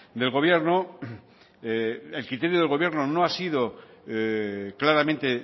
del gobierno el criterio del gobierno no ha sido claramente